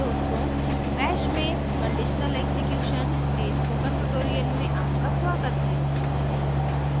दोस्तों bash में conditional execution के spoken tutorial में आपका स्वागत है